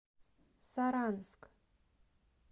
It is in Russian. саранск